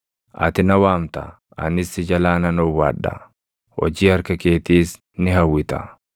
Ati na waamta; anis si jalaa nan owwaadha; hojii harka keetiis ni hawwita.